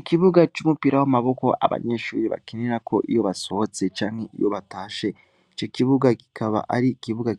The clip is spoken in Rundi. Ikibuga c'umupira w'amaboko abanyeshure bakinirako iyo basohotse canke iyo batashe, ico kibuga kikaba ari